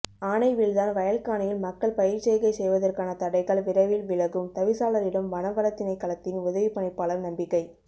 ஆனை விழுந்தான் வயல்க்காணியில் மக்கள் பயிர்ச்செய்கை செய்வதற்கான தடைகள் விரைவில் விலகும் தவிசாளரிடம் வனவளத்திணைக்களத்தின் உதவிப் பணிப்பாளர் நம்பிக்கை